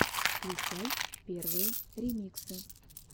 включай первые ремиксы